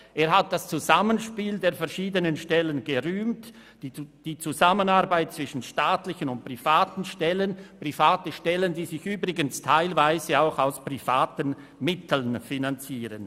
Er hat das Zusammenspiel der verschiedenen Stellen gerühmt, auch die Zusammenarbeit zwischen staatlichen und privaten Stellen, die sich übrigens teilweise auch aus privaten Mitteln finanzieren.